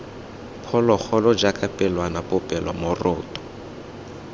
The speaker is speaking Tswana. phologolo jaaka pelwana popelo moroto